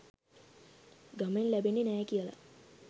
ගමෙන් ලැබෙන්නේ නෑ කියලා.